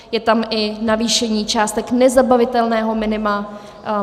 Je tam i navýšení částek nezabavitelného minima.